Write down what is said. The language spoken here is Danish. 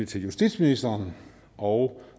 til justitsministeren og